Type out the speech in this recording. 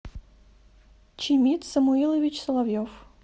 чимит самуилович соловьев